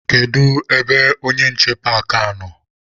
Kedu ebe onye nche paakị a nọ?